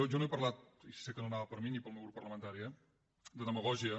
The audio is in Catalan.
jo no he parlat i sé que no anava per mi ni pel meu grup parlamentari eh de demagògia